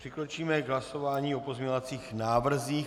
Přikročíme k hlasování o pozměňovacích návrzích.